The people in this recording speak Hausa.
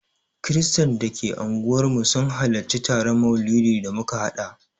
Kiristan da ke unguwarmu sun halarci taron maulidin da muka haɗa